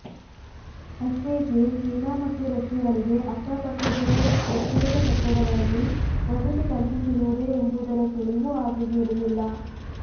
ಅಷ್ಟೇಕೆ China ಮತ್ತು ರಷ್ಯಾಗಳಿಗೆ ಅಕ್ಕಪಕ್ಕದಲ್ಲೇ ಪ್ರತ್ಯೇಕ ಕಟ್ಟಡಗಳಲ್ಲಿ ವಸತಿ ಕಲ್ಪಿಸಿರುವುದೇ ಎಂಬುದರ ಸುಳಿವೂ ಆಕೆಗೆ ಇರಲಿಲ್ಲ